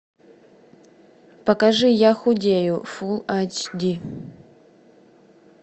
покажи я худею фул эйч ди